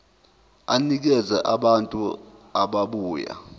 enikeza abantu ababuya